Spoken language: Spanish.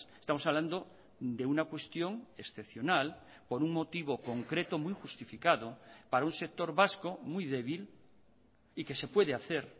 estamos hablando de una cuestión excepcional por un motivo concreto muy justificado para un sector vasco muy débil y que se puede hacer